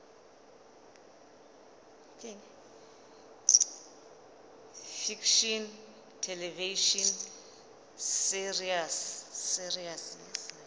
fiction television series